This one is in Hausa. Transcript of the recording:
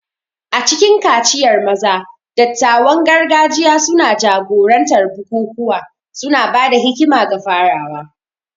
A cikin kaciyar maza, dattawan gargajiya suna jagorantar bukukuwa, suna ba da hikima ga farawa.